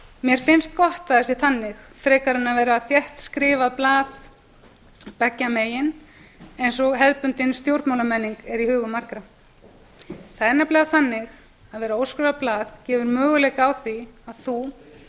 mér finnst gott að það sé þannig frekar en að vera þéttskrifað blað beggja megin eins og hefðbundin stjórnmálamenning er í hugum margra það er nefnilega þannig að það að vera óskrifað blað gefur möguleika á því að þú